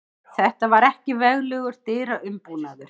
Þetta var ekki veglegur dyraumbúnaður.